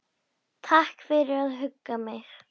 Takk fyrir að hugga mig.